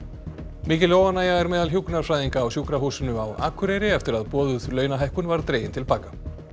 mikil óánægja er meðal hjúkrunarfræðinga á Sjúkrahúsinu á Akureyri eftir að boðuð launahækkun var dregin til baka